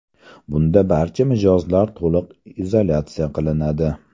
Bunda barcha mijozlar to‘liq izolyatsiya qilinadi.